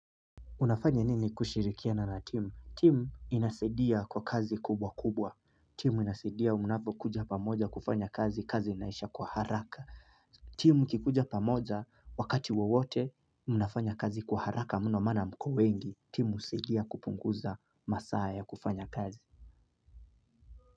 Unafanya nini kushirikiana na timu timu inasaidia kwa kazi kubwa kubwa timu inasaidia mnapo kuja pamoja kufanya kazi kazi inaisha kwa haraka timu ikikuja pamoja wakati wowote unafanya kazi kwa haraka mno maana mko wengi timu husaidia kupunguza masaa ya kufanya kazi.